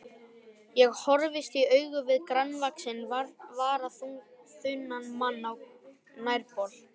Ég horfist í augu við grannvaxinn, varaþunnan mann á nærbol.